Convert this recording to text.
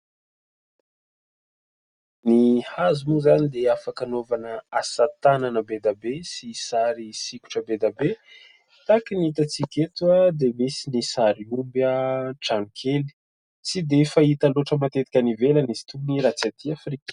Ny hazo moa izany dia afaka hanaovana asa tanana be dia be sy sary sikotra be dia be ; tahaka ny hitantsika eto dia misy ny sary omby, trano kely, tsy dia fahita loatra matetika any ivelany izy itony raha tsy atỳ Afrika.